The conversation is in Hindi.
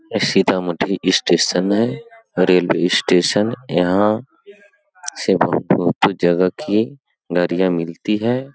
ये सीता-माती स्टेशन है रेलवे स्टेशन यहां सब जगह की नारियाँ मिलती हैं।